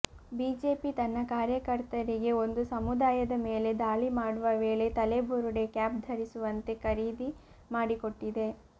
BJP ತನ್ನ ಕಾರ್ಯಕರ್ತರಿಗೆ ಒಂದು ಸಮುದಾಯದ ಮೇಲೆ ದಾಳಿ ಮಾಡುವ ವೇಳೆ ತಲೆಬುರುಡೆ ಕ್ಯಾಪ್ ಧರಿಸುವಂತೆ ಖರೀದಿ ಮಾಡಿಕೊಟ್ಟಿದೆ